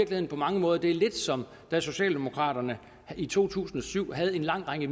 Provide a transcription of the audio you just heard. det på mange måder er lidt som da socialdemokraterne i to tusind og syv havde en lang række